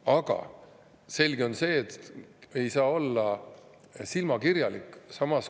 Aga selge on see, et ei saa olla silmakirjalik.